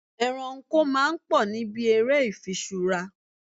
Ẹranko máa ń pò níbi ère ifiṣura.